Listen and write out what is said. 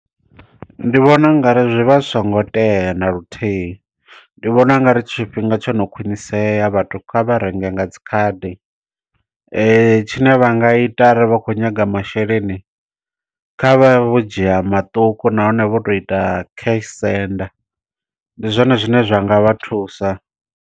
Ndi vhona u ngari zwi vha zwi songo tea na luthihi. Ndi vhona u ngari tshifhinga tsho no khwinisea, vhathu kha vha renge nga dzikhadi. Tshine vha nga ita are vha khou nyaga masheleni. Kha vha vhe vho dzhia maṱuku nahone vho to ita cash send. Ndi zwone zwine zwa nga vha thusa.